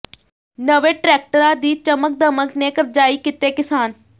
ਨਵੇਂ ਟਰੈਕਟਰਾਂ ਦੀ ਚਮਕ ਦਮਕ ਨੇ ਕਰਜ਼ਾਈ ਕੀਤੇ ਕਿਸਾਨ